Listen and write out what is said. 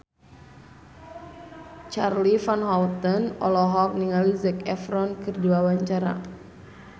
Charly Van Houten olohok ningali Zac Efron keur diwawancara